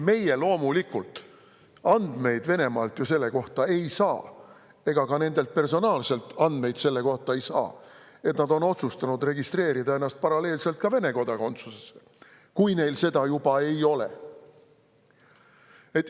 Meie loomulikult andmeid Venemaalt ju selle kohta ei saa ega saa ka nendelt personaalselt andmeid selle kohta, et nad on otsustanud registreerida ennast, et saada paralleelselt ka Vene kodakondsus, kui neil seda juba ei ole.